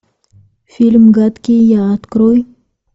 фильм гадкий я открой